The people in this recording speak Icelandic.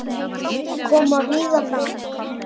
Koma víða fram